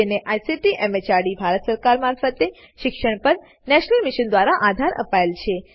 જેને ICT MHRD Bharat સરકાર મારફતે શિક્ષણ પર નેશનલ મિશન દ્વારા આધાર અપાયેલ છે